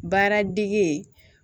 Baaradege